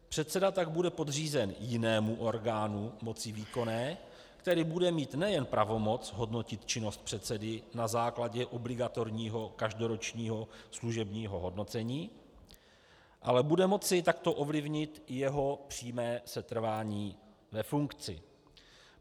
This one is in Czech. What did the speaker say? Předseda tak bude podřízen jinému orgánu moci výkonné, který bude mít nejen pravomoc hodnotit činnost předsedy na základě obligatorního každoročního služebního hodnocení, ale bude moci takto ovlivnit jeho přímé setrvání ve funkci.